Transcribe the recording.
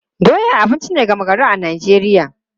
Doya abinci ne gama gari a Najeriya.